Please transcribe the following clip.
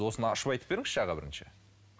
осыны ашып айтып беріңізші аға бірінші